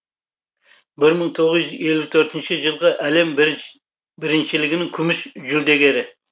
бір мың тоғыз жүз елу төртінші жылғы әлем біріншілігінің күміс жүлдегері